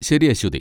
ശരി, അശ്വതി.